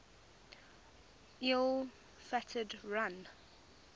ill fated run